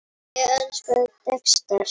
Ég elskaði Dexter.